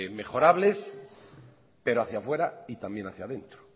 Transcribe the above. mejorables pero hacia afuera y también hacia adentro